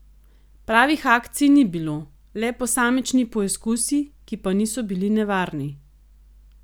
Pravih akcij ni bilo, le posamični poizkusi, ki pa niso bili nevarni.